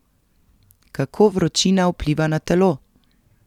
Kako vročina vpliva na telo?